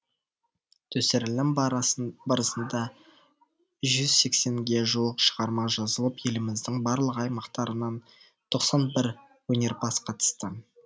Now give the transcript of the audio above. түсірілім барысында жүз сексенге жуық шығарма жазылып еліміздің барлық аймақтарынан тоқсан бір өнерпаз қатысты